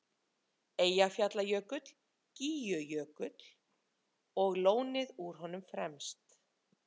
Eyjafjallajökull, Gígjökull og lónið úr honum fremst.